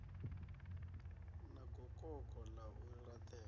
na gokoko ḽa u laṱela